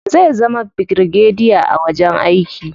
Zai zama birigadiya a wajen aiki.